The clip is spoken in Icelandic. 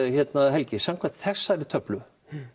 helgi samkvæmt þessari töflu